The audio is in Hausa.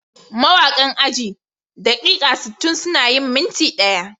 Mawakan ajin "daƙiƙa sittin suna yin minti ɗaya"